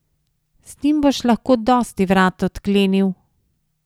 Z njim boš lahko dosti vrat odklenil!